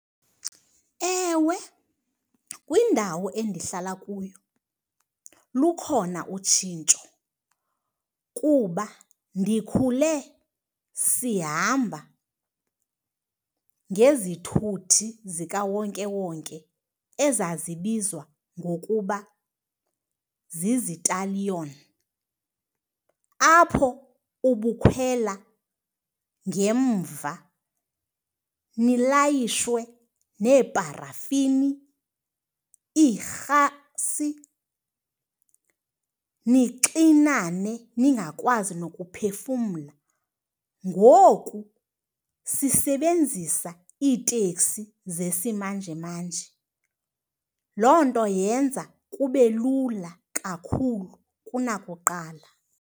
Ewe, kwindawo endihlala kuyo lukhona utshintsho kuba ndikhule sihamba ngezithuthi zikawonkewonke ezazibizwa ngokuba zizitaliyoni, apho ubukhwela ngemva nilayishe neeparafinii, iirhasi, nixinane ningakwazi nokuphefumla. Ngoku sisebenzisa iteksi zesimanjemanje, loo nto yenza kubelula kakhulu kunakuqala.